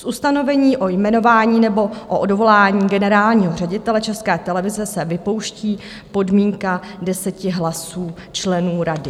Z ustanovení o jmenování nebo o odvolání generálního ředitele České televize se vypouští podmínka deseti hlasů členů rady.